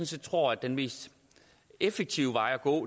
set tror at den mest effektive vej at gå